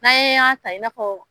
N'a ye yan ta i na fɔ .